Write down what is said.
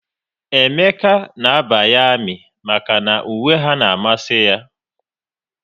Emeka na abanye ami maka na uwe ha n'amasi ya